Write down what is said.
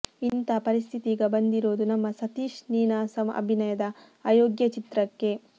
ಇಂತಹ ಪರಿಸ್ಥಿತಿ ಈಗ ಬಂದಿರೋದು ನಮ್ಮ ಸತೀಶ್ ನೀನಾಸಂ ಅಭಿನಯದ ಅಯೋಗ್ಯ ಚಿತ್ರಕ್ಕೆ